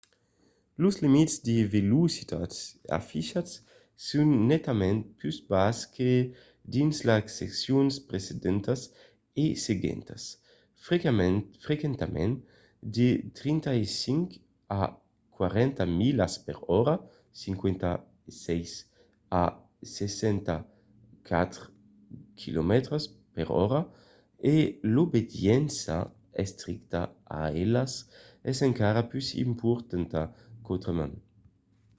los limits de velocitats afichats son netament pus basses que dins las seccions precedentas e seguentas — frequentament de 35 a 40 milas per ora 56 a 64 km/h — e l'obediéncia estricta a elas es encara pus importanta qu'autrament